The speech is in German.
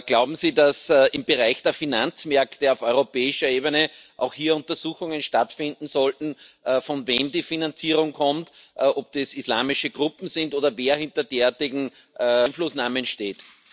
Glauben Sie, dass im Bereich der Finanzmärkte auf europäischer Ebene auch hier Untersuchungen stattfinden sollten, von wem die Finanzierung kommt, ob das islamische Gruppen sind oder wer hinter derartigen Einflussnahmen steht?